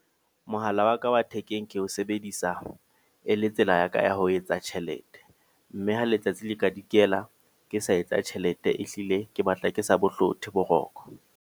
Mohala wa ka wa thekeng ke ho sebedisa e le tsela ya ka ya ho etsa tjhelete. Mme ha letsatsi le ka dikela ke sa etsa tjhelete. Ehlile ke batla ke sa bo hlothe boroko.